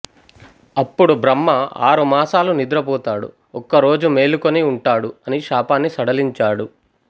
అప్పుడు బ్రహ్మ ఆరు మాసాలు నిద్రపోతాడు ఒక్కరోజు మేలుకొని ఉంటాడు అని శాపాన్ని సడలించాడు